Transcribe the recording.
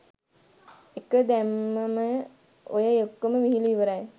එක දැම්මම ඔය ඔක්කොම විහිළු ඉවරයි.